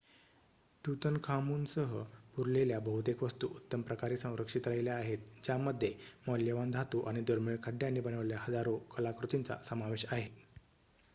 तूतनखामूनसह पुरलेल्या बहुतेक वस्तू उत्तम प्रकारे संरक्षित राहिल्या आहेत ज्यामध्ये मौल्यवान धातू आणि दुर्मिळ खड्यांनी बनवलेल्या हजारो कलाकृतींचा समावेश आहे